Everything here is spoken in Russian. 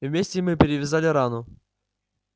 вместе мы перевязали рану